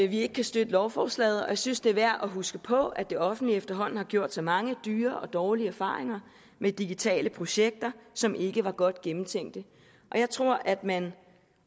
vi ikke kan støtte lovforslaget og jeg synes det er værd at huske på at det offentlige efterhånden har gjort sig mange dyre og dårlige erfaringer med digitale projekter som ikke var godt gennemtænkte og jeg tror at man